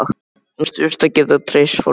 Hún þurfti að geta treyst fólki.